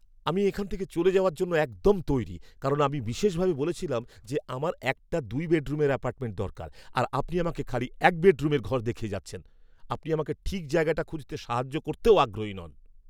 আমি এখান থেকে চলে যাওয়ার জন্য একদম তৈরি কারণ আমি বিশেষভাবে বলেছিলাম যে আমার একটা দুই বেডরুমের অ্যাপার্টমেন্ট দরকার আর আপনি আমাকে খালি এক বেডরুমের ঘর দেখিয়ে যাচ্ছেন। আপনি আমাকে ঠিক জায়গাটা খুঁজতে সাহায্য করতেও আগ্রহী নন।